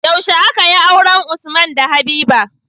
Yaushe akayi auren usman da habiba?